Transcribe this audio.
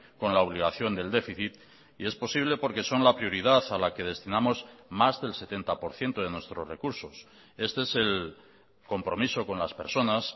con la obligación del déficit y es posible porque son la prioridad a la que destinamos más del setenta por ciento de nuestros recursos este es el compromiso con las personas